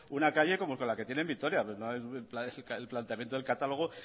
una calle como la que tiene en vitoria el planteamiento del catálogo